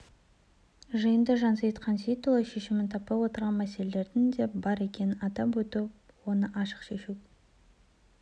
жиында жансейіт қансейітұлы шешімін таппай отырған мәселелердің де бар екенін атап өтіп оны ашық айтып шешу